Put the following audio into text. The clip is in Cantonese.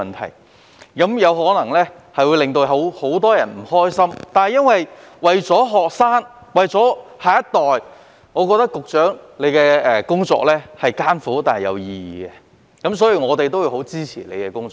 他的工作可能會令很多人不開心，但為了學生及下一代着想，局長的工作是艱苦但有意義的，所以我們十分支持他的工作。